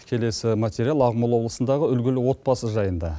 келесі материал ақмола облысындағы үлгілі отбасы жайында